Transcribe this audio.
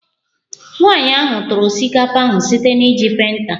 Nwanyị ahụ tụrụ osikapa ahụ site na iji penta